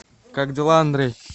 как дела андрей